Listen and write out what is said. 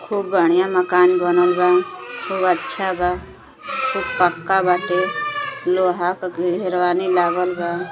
खूब बढ़िया मकान बनल बा खूब अच्छा बा खूब पक्का बाटे। लोहा का घेरवानी लागल बा --